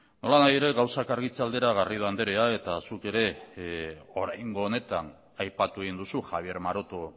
nolanahi ere gauzak argitze aldera garrido andrea eta zuk ere oraingo honetan aipatu egin duzu javier maroto